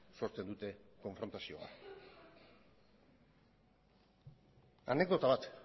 sortzen dute konfrontazioa anekdota bat